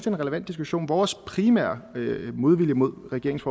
en relevant diskussion vores primære modvilje mod regeringens